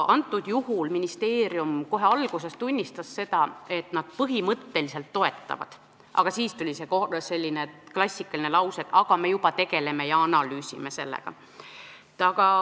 Antud juhul ministeerium kohe alguses tunnistas, et nad põhimõtteliselt toetavad, aga siis tuli see klassikaline lause: aga me juba tegeleme sellega ja analüüsime seda.